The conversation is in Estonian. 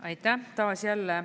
Aitäh!